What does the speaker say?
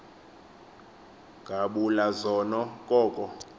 ngabula zona koko